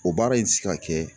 O baara in te se ka kɛ